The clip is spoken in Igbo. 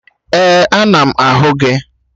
Ee, ana m ahụ gị